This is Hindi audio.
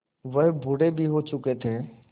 वह बूढ़े भी हो चुके थे